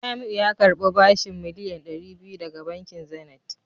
Jamiu ya karbi bashin miliyan dari biyu daga bankin Zenith